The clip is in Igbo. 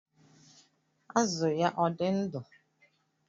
Azụ ya ọ̀ dị ndụ?